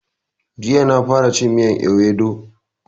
Jiya na fara cin miyan ewedu